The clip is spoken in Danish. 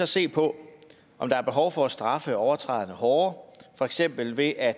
se på om der er behov for at straffe overtræderne hårdere for eksempel ved at